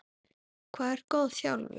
Hvað er góð þjálfun?